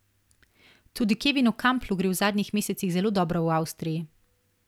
Tudi Kevinu Kamplu gre v zadnjih mesecih zelo dobro v Avstriji.